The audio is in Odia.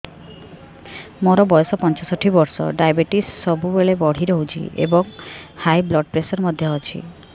ମୋର ବୟସ ପଞ୍ଚଷଠି ବର୍ଷ ଡାଏବେଟିସ ସବୁବେଳେ ବଢି ରହୁଛି ଏବଂ ହାଇ ବ୍ଲଡ଼ ପ୍ରେସର ମଧ୍ୟ ଅଛି